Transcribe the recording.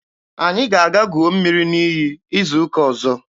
Anyị ga-aga guo mmiri n'iyi izu ụka ọzọ.